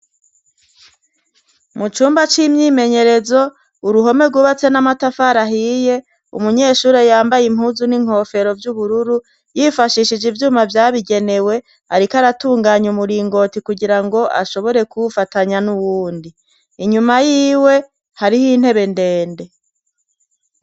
Mu cumba c'imyimenyerezo uruhome rwubatse n'amatafara ahiye umunyeshure yambaye impuzu n'inkofero vy'ubururu yifashishije ivyuma vyabigenewe, ariko aratunganye umuringoti kugira ngo ashobore kuwufatanya n'uwundi inyuma yiwe hariho intebe ndende.